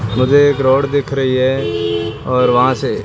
मुझे एक रोड दिख रही है और वहां से--